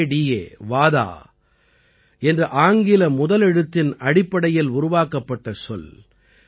வடா வாதா என்று ஆங்கில முதலெழுத்தின் அடிப்படையில் உருவாக்கப்பட்ட சொல்